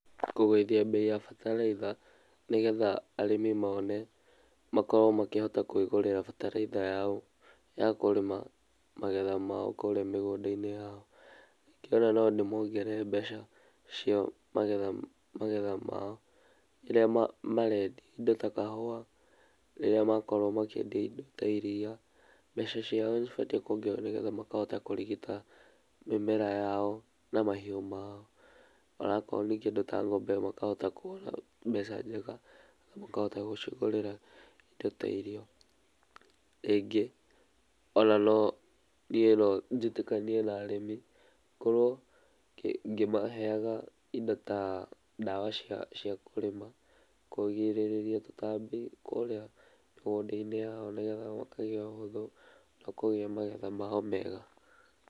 Takũgũithia bei ya bataraitha nĩgetha arĩmi mone makorwo makĩhota kwĩgũrĩra bataraitha yao ya kũrĩma magetha mao kũrĩa mĩgũnda-inĩ yao. Ningĩ nondĩmongerere mbeca cia magetha mao iria marendia indo ta kahua rĩrĩa makorwo makĩendie ta iria , mbeca ciao nĩcibatiĩ kũongererwo nĩgetha makahota kũrigita mĩmera yao na mahiũ mao. Ona okorwo nĩ kĩndũ ta ng'ombe makahota kũona mbeca njega na makahota gũcigũrĩra indo ta irio. Rĩngĩ ononie nonjĩtĩkanie na arĩmi korwo ngĩmaheaga indo ta ndawa cia kũrĩma, kũgirĩrĩa tũtambi kũrĩa migunda-inĩ yao nĩgetha makagĩa ũhũthũ na kũgĩa magetha mao mega.